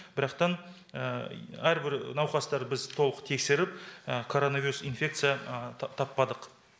бірақтан әрбір науқастар біз толық тексеріп коронавирус инфекция таппадық